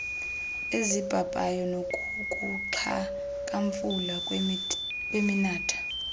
ezibhabhayo nakukuxhakamfula kweminatha